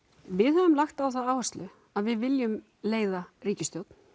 við höfum lagt á það áherslu að við viljum leiða ríkisstjórn